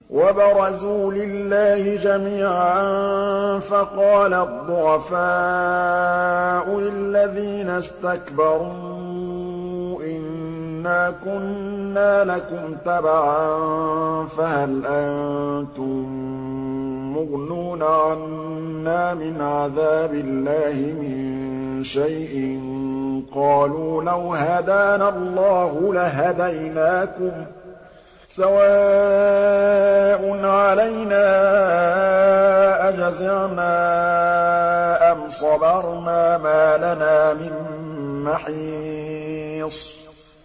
وَبَرَزُوا لِلَّهِ جَمِيعًا فَقَالَ الضُّعَفَاءُ لِلَّذِينَ اسْتَكْبَرُوا إِنَّا كُنَّا لَكُمْ تَبَعًا فَهَلْ أَنتُم مُّغْنُونَ عَنَّا مِنْ عَذَابِ اللَّهِ مِن شَيْءٍ ۚ قَالُوا لَوْ هَدَانَا اللَّهُ لَهَدَيْنَاكُمْ ۖ سَوَاءٌ عَلَيْنَا أَجَزِعْنَا أَمْ صَبَرْنَا مَا لَنَا مِن مَّحِيصٍ